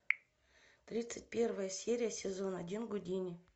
тридцать первая серия сезон один гудини